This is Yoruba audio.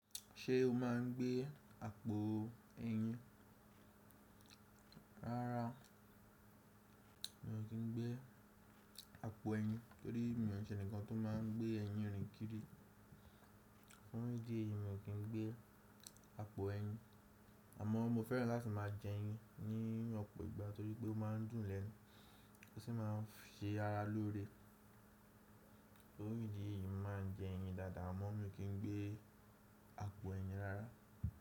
Ṣé o máa ń gbé àpò ẹyin? Rárá, mi ò kí ń gbé àpò ẹyin torí mi ò ṣe ǹkan tó máa ń gbé ẹyin rìn kiri. Tórí ìdí èyí, mi ò kí ń gbé àpò ẹyin, àmọ́ mo fẹ́ràn láti máa jẹ ẹyin ní ọ̀pọ̀ ìgbà torí pé ó máa ń dùn lẹ́nu, ó sì máa ń ṣe ara lóore. Tórí ìdí èyí, mo màá n jẹ ẹyin dáadáa, àmọ́ mi ò kí ń gbé àpò ẹyin rárá.